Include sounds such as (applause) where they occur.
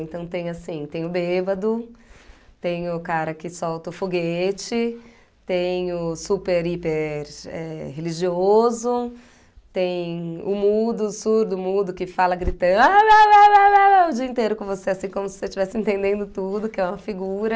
Então tem assim, tem o bêbado, tem o cara que solta o foguete, tem o super hiper eh religioso, tem o mudo, o surdo mudo que fala gritando á (unintelligible) o dia inteiro com você, assim como se você estivesse entendendo tudo, que é uma figura.